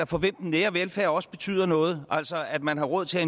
for hvem den nære velfærd også betyder noget altså at man har råd til at